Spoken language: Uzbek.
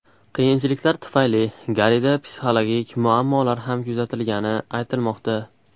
Qiyinchiliklar tufayli Garrida psixologik muammolar ham kuzatilgani aytilmoqda.